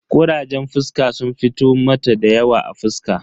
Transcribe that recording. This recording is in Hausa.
Kurajen fuska sun fito mata dayawa a fuska.